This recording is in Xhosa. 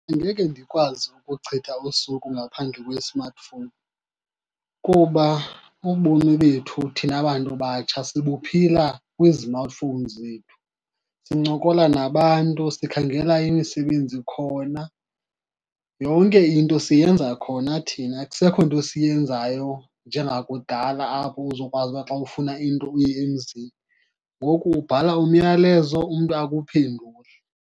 Angeke ndikwazi ukuchitha usuku ngaphandle kwesimatifowuni, kuba ubomi bethu thina bantu batsha sibuphila kwizimatifowuni zethu. Sincokola nabantu, sikhangela imisebenzi khona. Yonke into siyenza khona thina, akusekho nto siyenzayo njengakudala apho uzokwazi uba xa ufuna into uye emzini. Ngoku ubhala umyalezo umntu akuphendule.